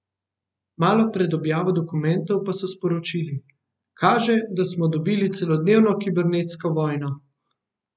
Malo pred objavo dokumentov pa so sporočili: "Kaže, da smo dobili celodnevno kibernetsko vojno.